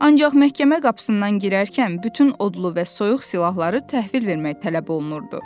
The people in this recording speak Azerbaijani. Ancaq məhkəmə qapısından girərkən bütün odlu və soyuq silahları təhvil vermək tələb olunurdu.